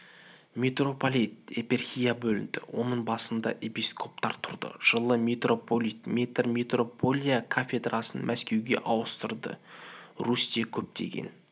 митрополит епархияға бөлінді оның басында епископтар тұрды жылы митрополит петр митрополия кафедрасын мәскеуге ауыстырды русьте көптеген